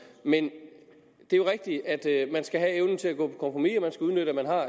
men det er jo rigtigt at man skal have evnen til at kompromis og man skal udnytte at man har